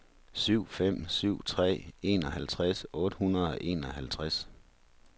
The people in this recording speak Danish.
syv fem syv tre enoghalvtreds otte hundrede og enoghalvtreds